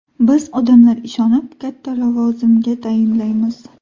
Biz odamlar ishonib, katta lavozimga tayinlaymiz.